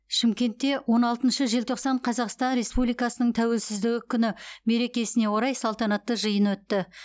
шымкентте он алтыншы желтоқсан қазақстан республикасының тәуелсіздігі күні меркесіне орай салтанатты жиын өтті